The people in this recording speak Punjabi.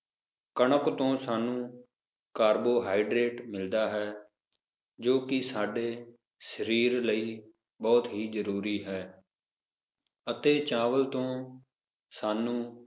ਕਣਕ ਤੋਂ ਸਾਨੂੰ carbohydrate ਮਿਲਦਾ ਹੈ ਜੋ ਕਿ ਸਾਡੇ ਸਾਰੀਰ ਲਈ ਬਹੁਤ ਹੀ ਜਰੂਰੀ ਹੈ ਅਤੇ ਚਾਵਲ ਤੋਂ ਸਾਨੂੰ